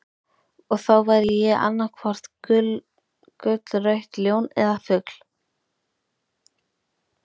Og þá væri ég annaðhvort gullrautt ljón eða fugl.